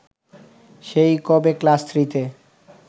সেই কবে ক্লাস থ্রিতে